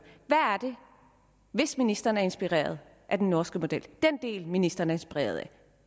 hvis ministeren er inspireret af den norske model den del ministeren er inspireret af